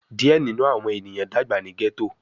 Diẹ ninu awọn eniyan dagba ni ghetto